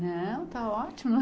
Não, está ótimo.